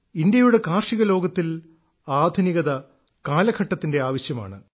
ഇന്ത്യയുടെ കാർഷിക ലോകത്തിൽ ആധുനികത കാലഘട്ടത്തിന്റെ ആവശ്യമാണ്